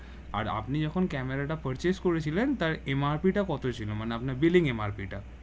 আর আপনি যখন ক্যামেরা টা purchase করেছিলেন তার MRP টা কত ছিলো? মানে আপনার billing MRP টা